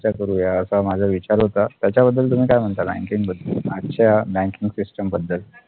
चर्चा करूया असा माझा विचार होता त्याच्याबद्दल तुम्ही काय म्हणता BANKING बद्दल आजच्या BANKING SYSTEM बद्दल